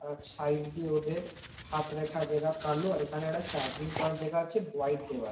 আর side দিয়ে hotel হাত রেখা যেটা কালো আর এখানে একটা চার্জিং পয়েন্ট দেখা যাচ্ছে হোয়াইট দেয়াল।